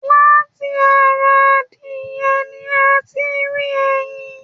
Láti ará adìyẹ̀ ní a tí n rí ẹyìn.